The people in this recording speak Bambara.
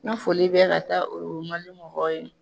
N ka foli bɛ ka taa mɔgɔw ye.